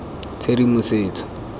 tshedimosetso